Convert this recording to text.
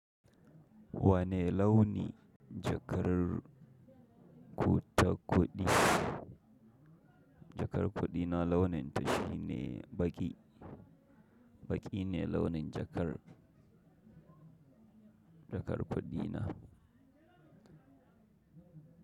Wane launi jakar kuɗa-kuɗi na launin ta shi ne baƙi, baƙi ne launin jakar, jakar kuɗi na.